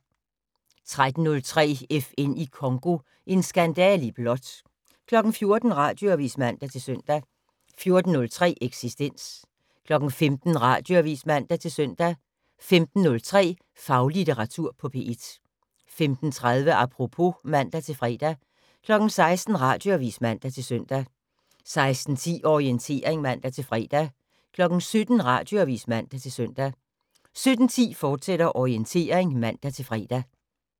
13:03: FN i Congo - en skandale i blåt 14:00: Radioavis (man-søn) 14:03: Eksistens 15:00: Radioavis (man-søn) 15:03: Faglitteratur på P1 15:30: Apropos (man-fre) 16:00: Radioavis (man-søn) 16:10: Orientering (man-fre) 17:00: Radioavis (man-søn) 17:10: Orientering, fortsat (man-fre)